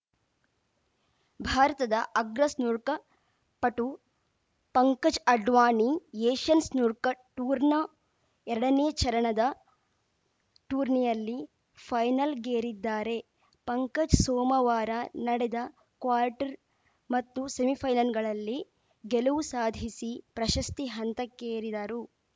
ಭಾರತದ ಅಗ್ರ ಸ್ನೂರ್ಕ ಪಟು ಪಂಕಜ್‌ ಅಡ್ವಾಣಿ ಏಷ್ಯನ್‌ ಸ್ನೂರ್ಕ ಟೂರ್‌ನ ಎರಡನೇ ಚರಣದ ಟೂರ್ನಿಯಲ್ಲಿ ಫೈನಲ್‌ಗೇರಿದ್ದಾರೆ ಪಂಕಜ್‌ ಸೋಮವಾರ ನಡೆದ ಕ್ವಾರ್ಟರ್‌ ಮತ್ತು ಸೆಮಿಫೈನಲ್‌ಗಳಲ್ಲಿ ಗೆಲುವು ಸಾಧಿಸಿ ಪ್ರಶಸ್ತಿ ಹಂತಕ್ಕೇರಿದರು